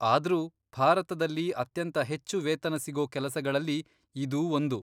ಆದ್ರೂ ಭಾರತದಲ್ಲಿ ಅತ್ಯಂತ ಹೆಚ್ಚು ವೇತನ ಸಿಗೋ ಕೆಲಸಗಳಲ್ಲಿ ಇದೂ ಒಂದು.